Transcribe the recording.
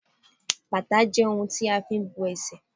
bàtà je oun ti a fi n bo esè